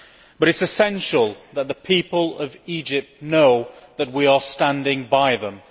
It is essential that the people of Egypt should know that we are standing by them.